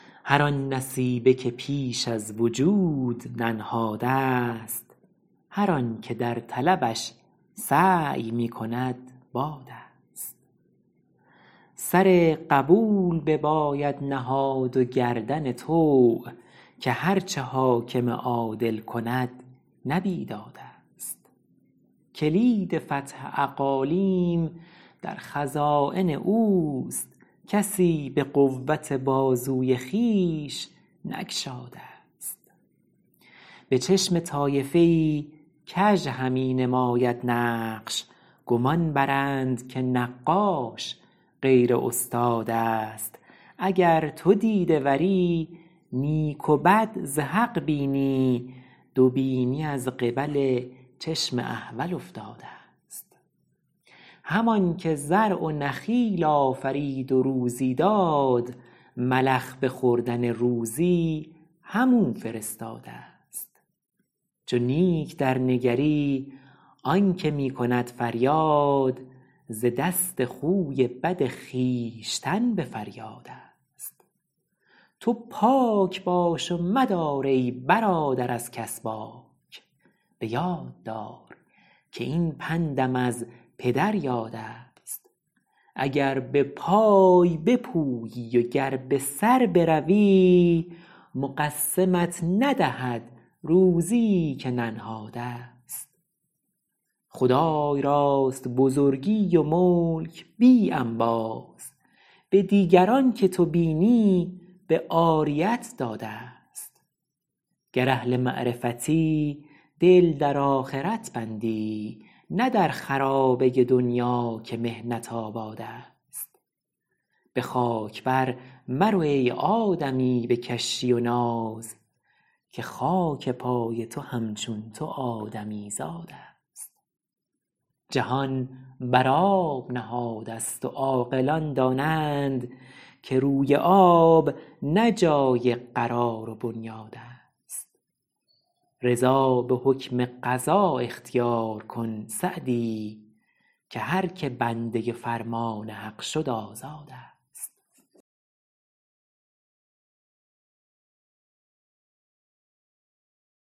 هر آن نصیبه که پیش از وجود ننهادست هر آن که در طلبش سعی می کند بادست سر قبول بباید نهاد و گردن طوع که هرچه حاکم عادل کند نه بیدادست کلید فتح اقالیم در خزاین اوست کسی به قوت بازوی خویش نگشادست به چشم طایفه ای کژ همی نماید نقش گمان برند که نقاش غیر استادست اگر تو دیده وری نیک و بد ز حق بینی دو بینی از قبل چشم احول افتادست همان که زرع و نخیل آفرید و روزی داد ملخ به خوردن روزی هم او فرستادست چو نیک درنگری آنکه می کند فریاد ز دست خوی بد خویشتن به فریادست تو پاک باش و مدار ای برادر از کس باک به یاد دار که این پندم از پدر یادست اگر به پای بپویی و گر به سر بروی مقسمت ندهد روزیی که ننهادست خدای راست بزرگی و ملک بی انباز به دیگران که تو بینی به عاریت دادست گر اهل معرفتی دل در آخرت بندی نه در خرابه دنیا که محنت آبادست به خاک بر مرو ای آدمی به کشی و ناز که خاک پای تو همچون تو آدمیزادست جهان بر آب نهاده ست و عاقلان دانند که روی آب نه جای قرار و بنیادست رضا به حکم قضا اختیار کن سعدی که هرکه بنده فرمان حق شد آزادست